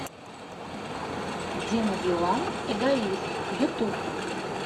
дима билан эгоист ютуб